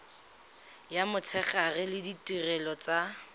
ya motshegare le ditirelo tsa